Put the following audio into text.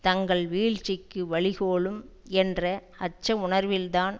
தங்கள் வீழ்ச்சிக்கு வழிகோலும் என்ற அச்ச உணர்வில் தான்